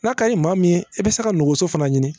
N'a kaɲi maa min ye i bɛ se ka nogoso fana ɲini